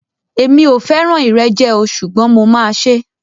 Èmi o fẹràn ìrẹjẹ o ṣugbọn mo ma ṣe.